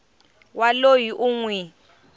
wa loyi u n wi